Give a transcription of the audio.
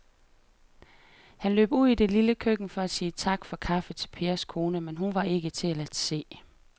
Han løb ud i det lille køkken for at sige tak for kaffe til Pers kone, men hun var ikke til at se.